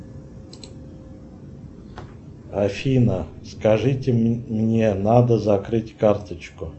афина скажите мне надо закрыть карточку